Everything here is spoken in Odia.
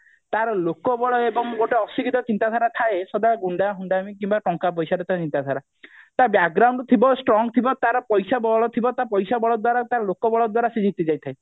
ଏବଂ ତାର ଲୋକବଳ ଏବଂ ତାର ଅଶିକ୍ଷିତ ଚିନ୍ତାଧାରା ଥାଏ ସଦା ଗୁଣ୍ଡା ହୁଣ୍ଡାମି କିମ୍ବା ଟଙ୍କା ପଇସାରେ ତାର ଚିନ୍ତାଧାରା ତା ଥିବ strong ଥିବ ତାର ପଇସା ବଳ ଥିବ ତା ପଇସା ବଳ ଦ୍ଵାରା ଲୋକବଳ ଦ୍ଵାରା ସେ ଜିତି ଯାଇଥାଏ